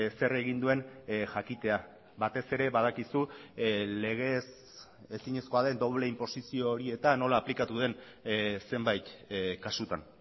zer egin duen jakitea batez ere badakizu legez ezinezkoa den doble inposizio horietan nola aplikatu den zenbait kasutan